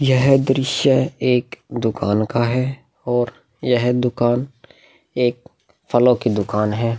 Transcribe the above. यह दृश्य एक दुकान का है और यह दुकान एक फलों की दुकान है।